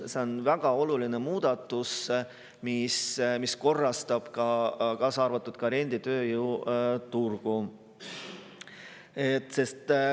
See on väga oluline muudatus, mis korrastab ka renditööjõuturgu.